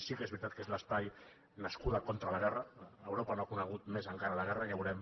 sí que és veritat que és l’espai nascut contra la guerra europa no ha conegut més encara la guerra ja veurem